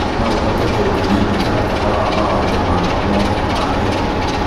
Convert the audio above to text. No ũhote kũnyonia mũtaratara wa mawatho makwa mothe ma ĩyo